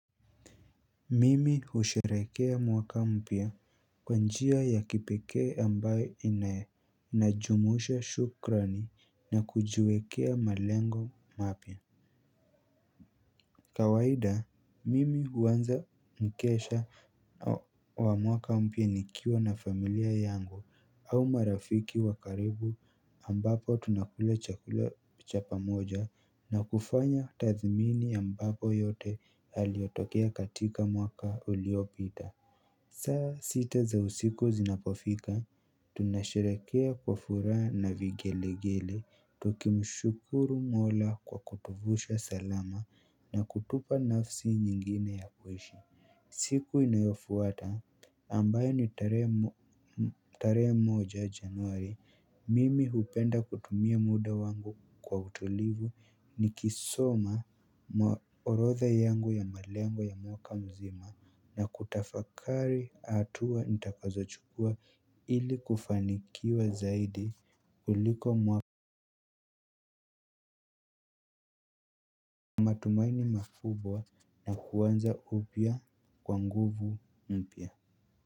Mimi husherehekea mwaka mpya kwa njia ya kipekee ambayo inajumuisha shukrani na kujiwekea malengo mapya. Kawaida mimi huanza mkesha wa mwaka mpya nikiwa na familia yangu au marafiki wa karibu ambapo tunakula chakula cha pamoja na kufanya tathmini ambapo yote yaliotokea katika mwaka uliopita. Saa sita za usiku zinapofika, tunasherehekea kwa furaha na vigelegele, tukimshukuru mola kwa kutuvusha salama na kutupa nafsi nyingine ya kuishi. Siku inayofuata ambayo ni tarehe moja januari mimi hupenda kutumia muda wangu kwa utulivu nikisoma orodha yangu ya malengo ya mwaka mzima na kutafakari hatua nitakazochukua ili kufanikiwa zaidi kuliko mwaka. Matumaini makubwa na kuanza upya kwa nguvu mpya.